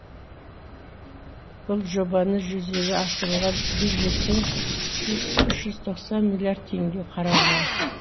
бұл жобаны жүзеге асыруға бюджеттен үш жүз тоқсан миллиард теңге қаралған